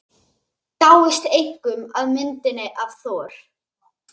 Dáist einkum að myndinni af Thor.